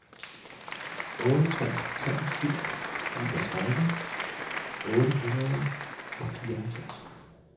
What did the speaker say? otte tre tre syv niogtredive otte hundrede og fireoghalvfjerds